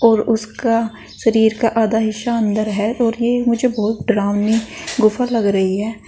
और उसका शरीर का आधा हिस्सा अंदर है और ये मुझे बहुत डरावनी गुफा लग रही है।